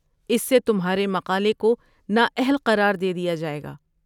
اس سے تمہارے مقالے کو نا اہل قرار دے دیا جائے گا۔